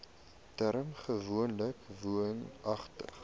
term gewoonlik woonagtig